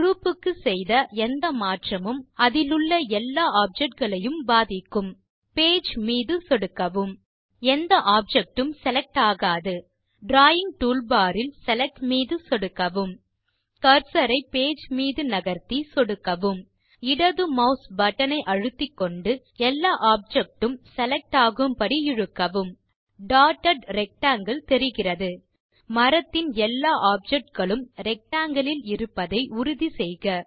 group க்கு செய்த எந்த மாற்றமும் அதிலுள்ள எல்லா ஆப்ஜெக்ட் களையும் பாதிக்கும் பேஜ் மீது சொடுக்கவும் எந்த ஆப்ஜெக்ட் உம் செலக்ட் ஆகாது டிராவிங் டூல்பார் இல்Select மீது சொடுக்கவும் கர்சர் ஐ பேஜ் மீது நகர்த்தி சொடுக்கவும் இடது மாஸ் பட்டன் ஐ அழுத்திக்கொண்டு எல்லா ஆப்ஜெக்ட் உம் செலக்ட் ஆகும்படி இழுக்கவும் டாட்டட் ரெக்டாங்கில் தெரிகிறது மரத்தின் எல்லா ஆப்ஜெக்டுகளும் rectangleல் இருப்பதை உறுதி செய்க